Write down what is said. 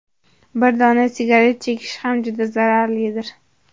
Bir dona sigaret chekish ham juda zararlidir.